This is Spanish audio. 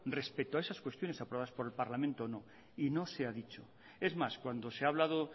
respecto a esas cuestiones aprobadas por el parlamento o no y no se ha dicho es más cuando se ha hablado